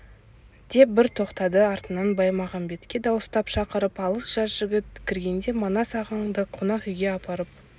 деп бір тоқтады артынан баймағамбетке дауыстап шақырып алып жас жігіт кіргенде манас ағаңды қонақ үйге апарып